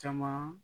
Caman